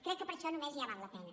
crec que per això només ja val la pena